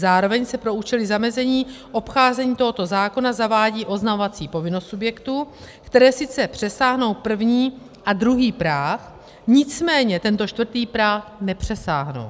Zároveň se pro účely zamezení obcházení tohoto zákona zavádí oznamovací povinnost subjektů, které sice přesáhnou první a druhý práh, nicméně tento čtvrtý práh nepřesáhnou.